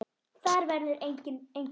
Þar verður engu breytt.